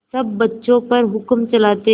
सब बच्चों पर हुक्म चलाते